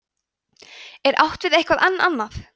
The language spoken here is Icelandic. er átt við eitthvað enn annað